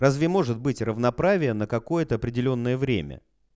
разве может быть равноправие на какое-то определённое время